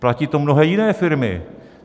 Platí to mnohé jiné firmy.